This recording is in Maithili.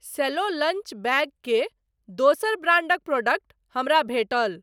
सेल्लो लंच बैग के दोसर ब्रांडक प्रोडक्ट हमरा भेटल।